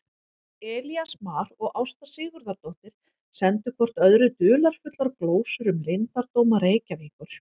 Elías Mar og Ásta Sigurðardóttir sendu hvort öðru dularfullar glósur um leyndardóma Reykjavíkur.